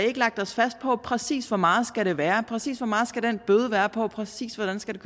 ikke lagt os fast på præcis hvor meget det skal være præcis hvor meget skal den bøde være på præcis hvordan skal